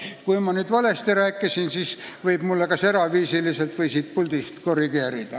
Kui ma nüüd midagi valesti rääkisin, siis võib mind kas eraviisiliselt või siit puldist korrigeerida.